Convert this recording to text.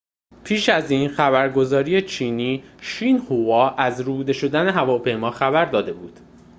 پیش از این خبرگزاری چینی شینهووا از ربوده شدن هواپیما خبر داده بود